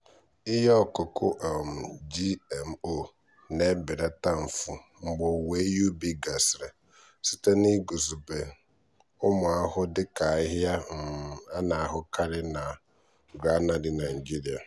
ihe ọkụkụ um gmo na-ebelata mfu mgbe owuwe ihe ubi gasịrị site n'iguzogide ụmụ ahụhụ dị ka ahịhịa um a na-ahụkarị na um granary nigeria.